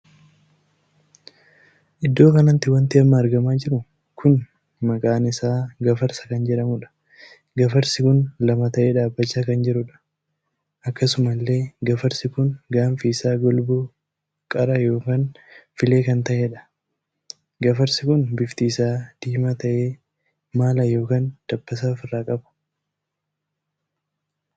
Iddoo kanatti wanti amma argamaa jiru kun maqaa isaa gafarsaa kan jedhamudha. gafarsi kun lama tahee dhaabbachaa kan jiruudha. akkasuma illee gafarsi kun gaanfi isaa golboo qara ykn filee kan tahedha. gafarsi kun bifti isaa diimaa tahee maala ykn dabbasaa ofiirraa qaba.